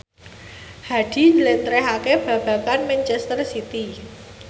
Hadi njlentrehake babagan manchester city